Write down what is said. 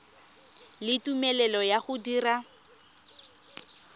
le tumelelo ya go dira